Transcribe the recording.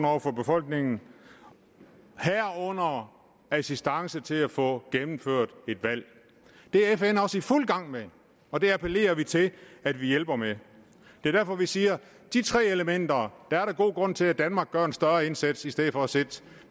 over for befolkningen herunder assistance til at få gennemført et valg det er fn også i fuld gang med og det appellerer vi til at vi hjælper med det er derfor vi siger at de tre elementer er der god grund til at danmark gør en større indsats i stedet for at sidde